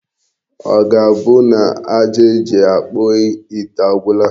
Ọ ga-abụ na aja eji akpụ ite agwụla?